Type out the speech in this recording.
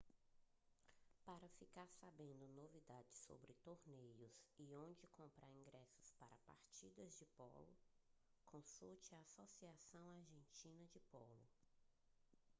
para ficar sabendo novidades sobre torneios e onde comprar ingressos para partidas de polo consulte a associação argentina de polo